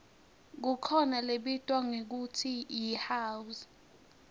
kukhona lebitwa ngekutsi yihouse